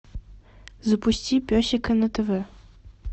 запусти песика на тв